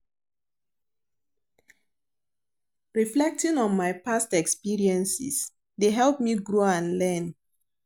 Reflecting on my past experiences dey help me grow and learn.